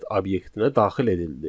Set obyektinə daxil edildi.